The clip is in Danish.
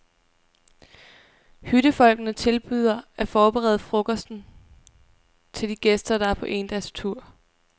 Hyttefolkene tilbyder at forberede frokosten til de gæster, der er på endagstur.